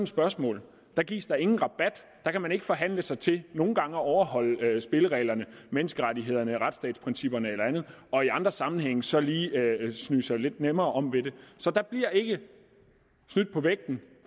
spørgsmål gives der ingen rabat der kan man ikke forhandle sig til nogle gange at overholde spillereglerne menneskerettighederne retsstatsprincipperne eller andet og i andre sammenhænge så lige smyge sig lidt nemmere om ved det så der bliver ikke snydt på vægten